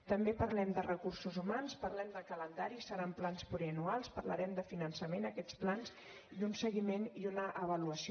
també parlem de recursos humans parlem de calendari seran plans plurianuals parlarem de finançament d’aquests plans i un seguiment i una avaluació